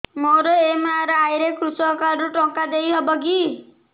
ମୋର ଏମ.ଆର.ଆଇ ରେ କୃଷକ କାର୍ଡ ରୁ ଟଙ୍କା ଦେଇ ହବ କି